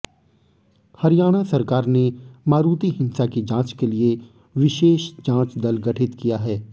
हरियाणा सरकार ने मारूति हिंसा की जांच के लिए विशेष जांच दल गठित किया है